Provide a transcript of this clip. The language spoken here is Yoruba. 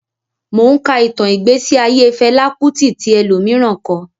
Mò ún ka ìtàn ìgbésí ayé Fẹlá Kútì tí ẹlòmíràn kọ